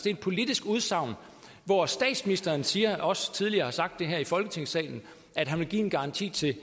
et politisk udsagn hvor statsministeren siger og også tidligere har sagt her i folketingssalen at han vil give en garanti til